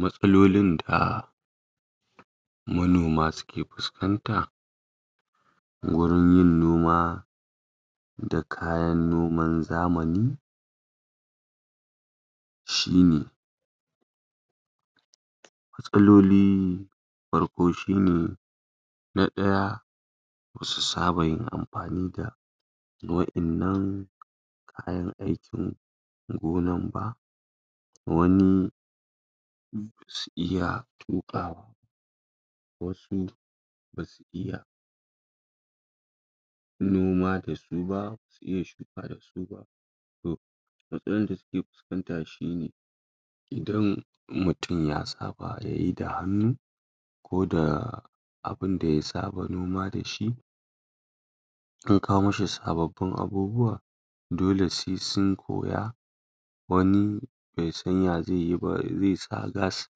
matsalolin da manoma suke fuskanta gurin yin noma da kayan noman zamani shine matsaloli farko shine na daya basu saba yin amfani da wa innan kayan aikin gonan ba wani basu iya tukawa ba wasu basu iya noma da suba basu iya shuka da suba matsalan da suke fuskanta shine idan mutum ya saba yayi da hannu ko da abunda ya saba noma da shi an kawo mishi sabbabin abubuwa dole sai sun koya wani bai san ya zaiyi ba zai sa gas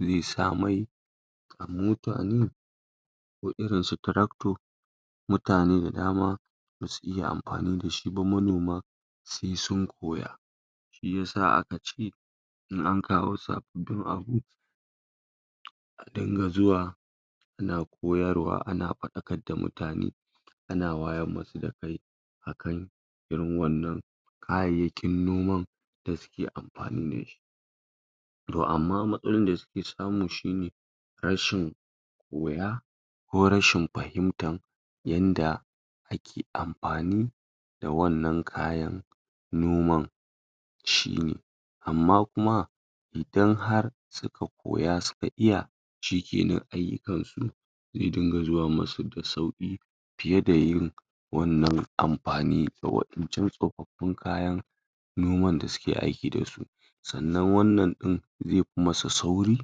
zai sa mai a mota ne ko irin su trakto mutane da dama basu iya amfani dashi ba sai sun koya shiya aka ce in an kawo sabin abu a dinga zuwa ana koyar da mutane a na fadakar da mutane ana wayar musu da kai a kai irin wannan kayyakin noman da suke amfani dashi to amma matsalolin da suke samu shine rashin wuya ko rashin fahimtar yanda ake amfani da wannan kayan noman shine amma kuma idan har suka koya suka iya shikenan ayyukansu zai dinga zuwa musu da sauki fiyeda wannan amfani ga wan incan tsofaffin noman da suke aiki dasu sannan wannan din zai fi musu sauri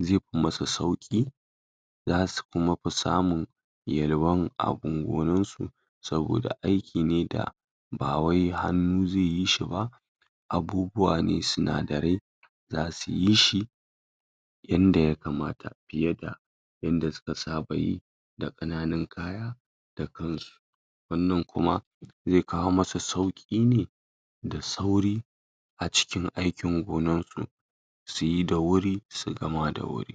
zai fi musu sauqi zasu fi kuma samun yelwan abun gonan su saboda aiki da ba wai hannu zaiyi shi ba abubwa ne sinadarai zasuyi shi yanda ya kamata fiyeda yanda suka saba yi da kananu kaya da kansu wannan kuma zai kawo musu sauki ne da sauri acikin aikin gonan su suyi da wuri su gama da wuri